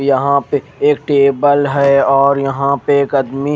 यहा पे एक टेबल है और यहा पे एक आदमी--